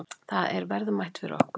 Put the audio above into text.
Það er verðmætt fyrir okkur.